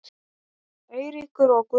Eiríkur og Guðrún.